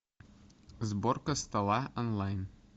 сборка стола онлайн